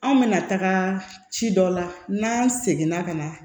Anw bɛna taga ci dɔ la n'an seginna ka na